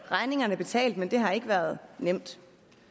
regningerne er betalt men det har ikke været nemt